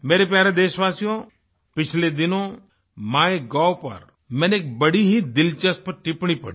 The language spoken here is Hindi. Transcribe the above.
मेरे प्यारे देशवासियो पिछले दिनों माइगोव पर मैंने एक बड़ी ही दिलचस्प टिप्पणी पढ़ी